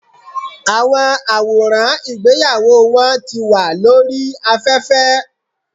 Àwọn àwòràn ìgbéyàwó wọn ti wà lórí aféfé